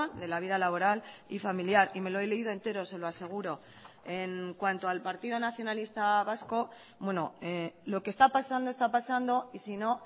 de la vida laboral y familiar y me lo he leído entero se lo aseguro en cuanto al partido nacionalista vasco lo que está pasando está pasando y sino